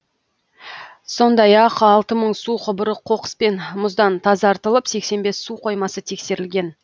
сондай ақ алты мың су құбыры қоқыс пен мұздан тазартылып сексен бес су қоймасы тексерілген